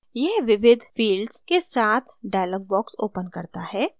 यह विविध fields के साथ dialog box opens करता है